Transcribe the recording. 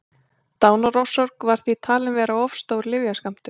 dánarorsök var því talin vera of stór lyfjaskammtur